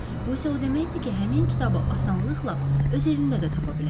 Bu isə o deməkdir ki, həmin kitabı asanlıqla öz evimdə də tapa bilərəm.